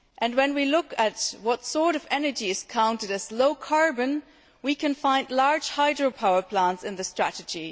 When we look at what sort of energy is counted as low carbon, we can find large hydropower plants in the strategy.